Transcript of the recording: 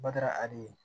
Bada ade ye